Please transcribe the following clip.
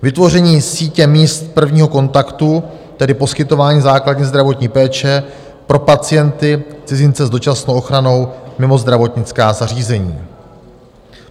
Vytvoření sítě míst prvního kontaktu, tedy poskytování základní zdravotní péče pro pacienty - cizince s dočasnou ochranou mimo zdravotnická zařízení.